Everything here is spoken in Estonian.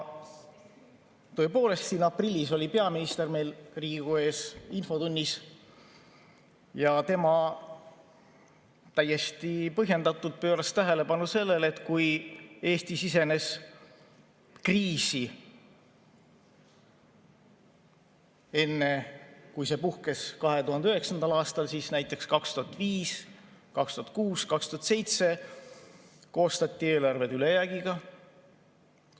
Tõepoolest, aprillis oli peaminister Riigikogu ees infotunnis ja tema täiesti põhjendatult pööras tähelepanu sellele, et kui Eesti sisenes kriisi, kui see puhkes 2009. aastal, siis näiteks 2005, 2006 ja 2007 olid eelarved koostatud ülejäägiga.